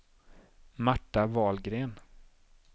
Marta Wahlgren